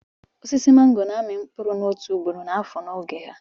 Osisi màngò na-amị mkpụrụ otu ugboro n'afọ n'oge ha